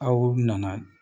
Aw nana